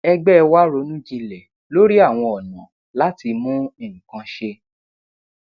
ẹgbé wa ronú jinlẹ lórí àwọn ọnà láti mú nnkan ṣe